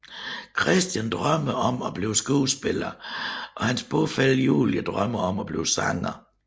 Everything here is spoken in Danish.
Christian drømmer om at blive skuespiller og hans bofælle Julie drømmer om at blive sanger